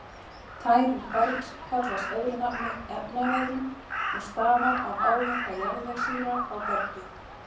Tæring bergs kallast öðru nafni efnaveðrun og stafar af áverka jarðvegssýra á bergið.